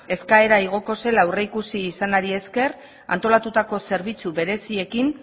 eskaera igoko zela aurreikusi izanari esker antolatutako zerbitzu bereziekin